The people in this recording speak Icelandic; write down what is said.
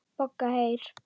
BOGGA: Heyr!